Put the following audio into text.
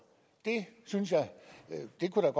det kunne